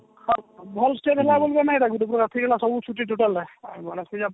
ହଁ ଭଲ ଏଟା ଗୁଟେ ପ୍ରକାରେ free ହେଲା ସବୁ ଛୁଟି total ଟା ଗନେଶ ପୂଜା ପରେ